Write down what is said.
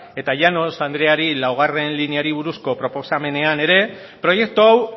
eta llanos andreari laugarrena lineari buruzko proposamenean ere proiektu hau